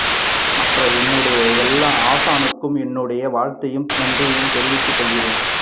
மற்ற என்னுடைய எல்லா ஆசானுக்கும் என்னுடைய வாழ்த்தையும் நன்றியையும் தெரிவித்து கொள்கின்றேன்